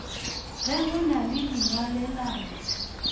ge go na le dingwalelano